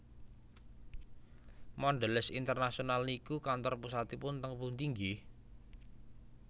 Mondelez International niku kantor pusatipun teng pundi nggeh?